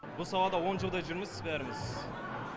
бұл салада он жылдай жүрміз бәріміз